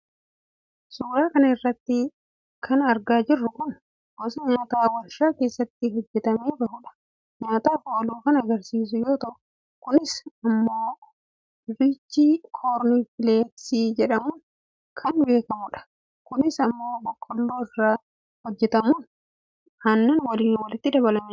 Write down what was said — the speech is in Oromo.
suuraa kana irratti kan argaa jirru kun gosa nyaataa warshaa keessatti hojjetamee bahuudhaan nyaataaf oolu kan agarsiisu yoo ta'u, kunis immoo inriich koorn fileeksi jedhamuun kan beekamudha . kunis immoo boqqoolloo irraa hojjetamuun aannan waliin walitti dabalamee kan nyaatamudha.